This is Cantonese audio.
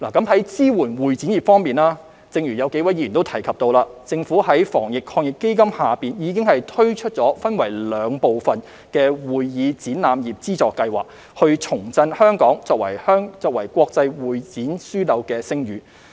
在支援會展業方面，正如有數位議員提及，政府在防疫抗疫基金下已推出分為兩部分的會議展覽業資助計劃，以重振香港作為國際會展樞紐的聲譽。